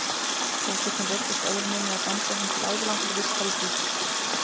Fógetinn reiddist ögruninni og dæmdi hann til ævilangrar vistar í dýflissu.